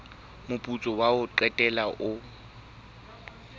moputso wa ho qetela o